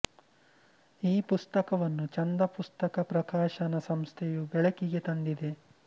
ಈ ಪುಸ್ತಕವನ್ನು ಛಂದ ಪುಸ್ತಕ ಪ್ರಕಾಶನ ಸಂಸ್ಥೆಯು ಬೆಳಕಿಗೆ ತಂದಿದೆ